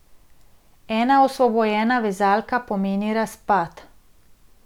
Ena osvobojena vezalka pomeni razpad.